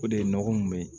O de ye nɔgɔ mun bɛ ye